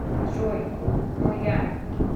джой но я